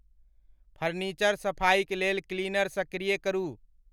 Furniture सफाइक लेल cleaner सक्रिय करु।